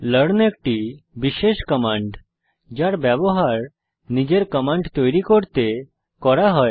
learn একটি বিশেষ command যার ব্যবহার নিজের কমান্ড তৈরী করতে করা হয়